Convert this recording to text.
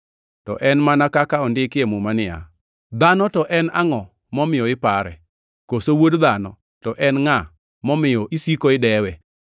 To en mana kaka ondiki e muma niya, “Dhano to en angʼo momiyo ipare, koso wuod dhano to en ngʼa momiyo isiko idewe?